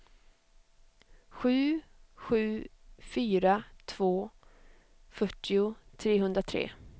sju sju fyra två fyrtio trehundratre